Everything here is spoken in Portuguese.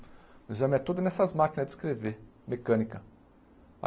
O exame é todo nessas máquinas de escrever, mecânica.